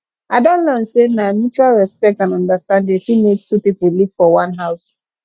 i don learn sey na mutual respect and understanding fit make two pipo live for one house